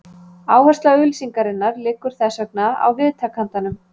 Áhersla auglýsingarinnar liggur þess vegna á viðtakandanum.